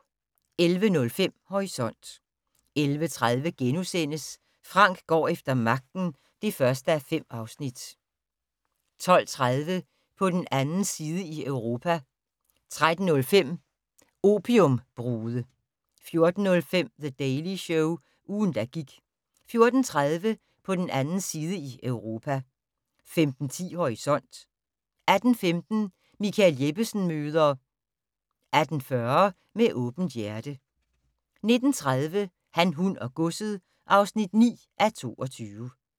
11:05: Horisont 11:30: Frank går efter magten (1:5)* 12:30: På den 2. side i Europa 13:05: Opiumbrude 14:05: The Daily Show - ugen, der gik 14:30: På den 2. side i Europa 15:10: Horisont 18:15: Michael Jeppesen møder ... 18:40: Med åbent hjerte 19:30: Han, hun og godset (9:22)